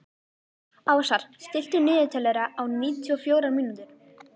Ásar, stilltu niðurteljara á níutíu og fjórar mínútur.